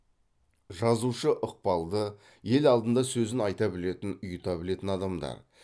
жазушы ықпалды ел алдында сөзін айта білетін ұйыта білетін адамдар